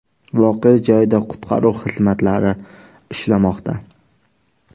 Voqea joyida qutqaruv xizmatlari ishlamoqda.